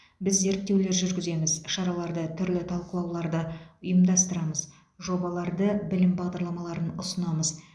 біз зерттеулер жүргіземіз шараларды түрлі талқылауларды ұйымдастырамыз жобаларды білім бағдарламаларын ұсынамыз